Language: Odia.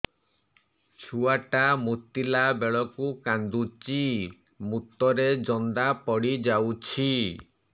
ଛୁଆ ଟା ମୁତିଲା ବେଳକୁ କାନ୍ଦୁଚି ମୁତ ରେ ଜନ୍ଦା ପଡ଼ି ଯାଉଛି